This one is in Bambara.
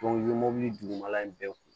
i ye mobili dugumala in bɛɛ kun